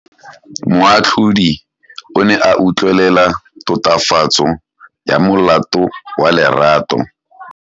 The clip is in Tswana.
Moatlhodi o ne a utlwelela tatofatsô ya molato wa Lerato.